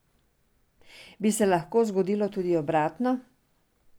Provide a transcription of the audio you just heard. Bi se lahko zgodilo tudi obratno?